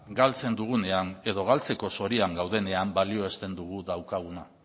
galtzen dugunean edo galtzeko zorian gaudenean balioesten dugu daukaguna